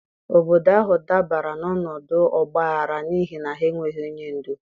Obodo ahụ dabara n'ọnọdụ ọgbaghara n'ihi na ha enweghị onye ndu.